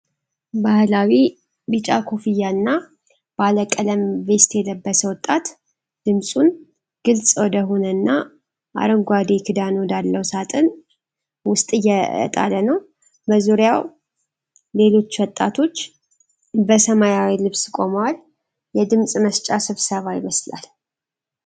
ባህላዊ ቢጫ ኮፍያና ባለቀለም ቬስት የለበሰ ወጣት ድምጹን ግልፅ ወደ ሆነና አረንጓዴ ክዳን ወዳለው ሣጥን ውስጥ እየጣለ ነው። በዙሪያው ሌሎች ወጣቶች በሰማያዊ ልብስ ቆመዋል፤ የድምጽ መስጫ ስብሰባ ይመስላል።